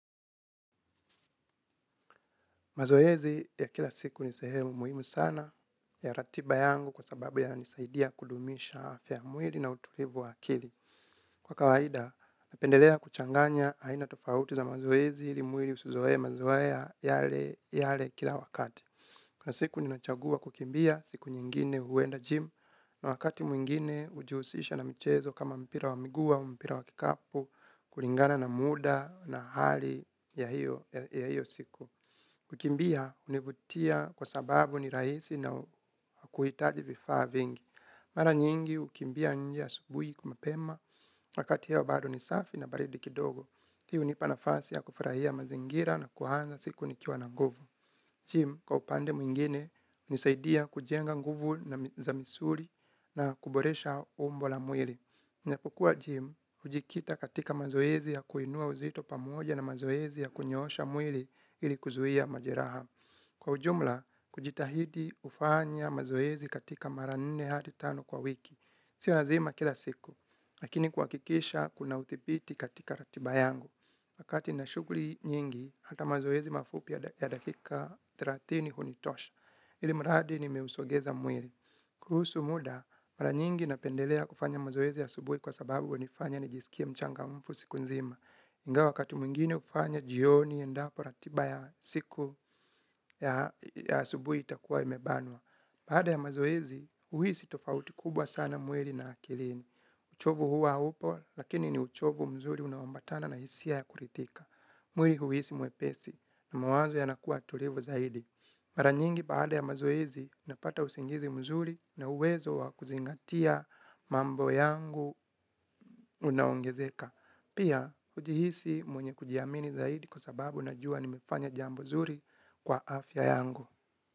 Mazoezi ya kila siku ni sehemu muhimu sana ya ratiba yangu kwa sababu yanisaidia kudumisha afya ya mwili na utulivu wa akili. Kwa kawaida, napendelea kuchanganya aina tofauti za mazoezi ili mwili usizoee mazoea yale yale kila wakati. Kwa siku ninachagua kukimbia, siku nyingine huenda gym na wakati mwingine hujihusisha na mchezo kama mpira wa miguu au mpira wa kikapu, kulingana na muda na hali ya hiyo siku. Kukimbia, hunivutia kwa sababu ni rahisi na huitaji vifaa vingi. Mara nyingi, hukimbia nje subuhi mapema wakati hewa bado ni safi na baridi kidogo hii hunipa nafasi ya kufurahia mazingira na kuanza siku nikiwa na nguvu Gym, kwa upande mwingine, hunisaidia kujenga nguvu na zamisuri na kuboresha umbo la mwili. Napokuwa Gym, hujikita katika mazoezi ya kuinua uzito pamoja na mazoezi ya kunyoosha mwili ili kuzuia majeraha. Kwa ujumla, kujitahidi kufanya mazoezi katika mara nne hadi tano kwa wiki. Sia lazima kila siku, lakini kuhakikisha kuna udhibiti katika ratiba yangu. Wakati na shughuli nyingi, hata mazoezi mafupi ya dakika thelathini hunitosha. Ilimradi nimeusogeza mwili. Kuhusu muda, mara nyingi napendelea kufanya mazoezi ya asubuhi kwa sababu hunifanya nijisikie mchangamfu siku nzima. Ingawa wakati mwingine hufanya jioni endapo ratiba ya siku ya asubuhi itakuwa imebanwa. Baada ya mazoezi, uhisi tofauti kubwa sana mwili na akilini. Uchovu hua upo, lakini ni uchovu mzuri unaoambatana na hisia ya kuridhika. Mwili uhisi mwepesi na mawazo yanakuwa tulivu zaidi. Mara nyingi baada ya mazoezi, napata usingizi mzuri na uwezo wa kuzingatia mambo yangu unaongezeka. Pia, hujihisi mwenye kujiamini zaidi kwa sababu najua nimefanya jambo zuri kwa afya yangu.